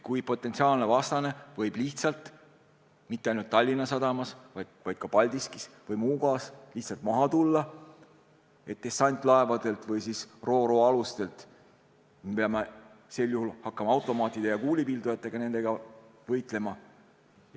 Kui potentsiaalne vastane võib mitte ainult Tallinna sadamas, vaid ka Paldiskis või Muugas lihtsalt dessantlaevadelt või ro-ro-alustelt maha tulla, siis me peame sel juhul hakkama automaatide ja kuulipildujatega võitlema.